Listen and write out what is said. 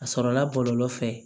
A sɔrɔla bɔlɔlɔ fɛ